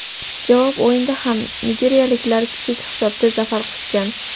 Javob o‘yinida ham nigeriyaliklar kichik hisobda zafar quchgan.